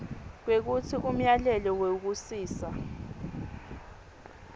kwekutsi umyalelo wekusisa